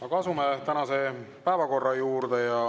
Aga asume tänase päevakorra juurde.